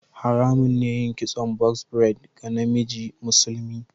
Haramun ne yin kitson "box braid" ga namiji musulmi.